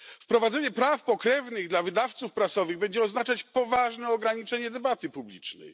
Wprowadzenie praw pokrewnych dla wydawców prasowych będzie oznaczać poważne ograniczenie debaty publicznej.